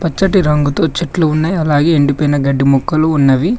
పచ్చటి రంగుతో చెట్లు ఉన్నాయి అలాగే ఎండిపోయిన గడ్డి మొక్కలు ఉన్నవి.